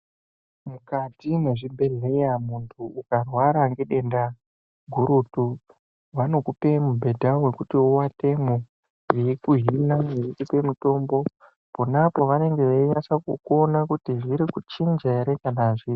Mukati mwezvibhedhleya muntu ukarwara ngedenda gurutu vanokupe mubhedha vekuti uvatemwo. Veikuhina veikupe mutombo ponapo vanenge veinasakukuona kuti zviri kuchinja ere kana hazvisi.